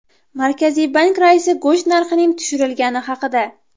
Markaziy bank raisi go‘sht narxining tushirilgani haqida.